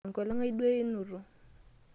Enkolong' ai duo einoto.